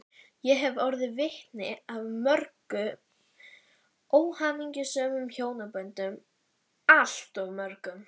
Ég hef orðið vitni að mörgum óhamingjusömum hjónaböndum, alltof mörgum.